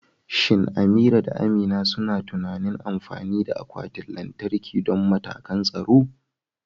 Shin Amira da Amina suna tunanin amfani da akwatin lantarki don matakan tsaro?